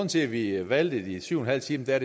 til at vi valgte de syv en halv time er